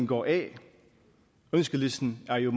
går af ønskelisten er jo